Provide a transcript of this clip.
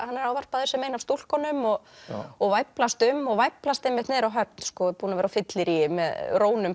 hann er ávarpaður sem ein af stúlkunum og og væflast um og væflast einmitt niður á höfn er búinn að vera á fylleríi með